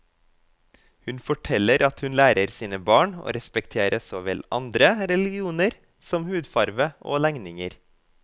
Hun forteller at hun lærer sine barn å respektere så vel andre religioner som hudfarve og legninger.